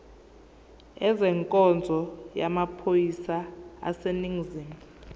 ezenkonzo yamaphoyisa aseningizimu